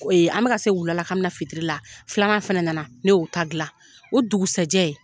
an bɛka ka se wula la ka bɛ na fitiri la filanan fana nana. Ne y'o ta dilan. O dugusajɛ